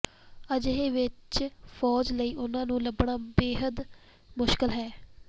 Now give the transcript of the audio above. ਅਜਿਹੇ ਵਿਚ ਫੌਜ ਲਈ ਉਹਨਾਂ ਨੂੰ ਲੱਭਣਾ ਬੇਹੱਦ ਮੁਸ਼ਕਿਲ ਹੈ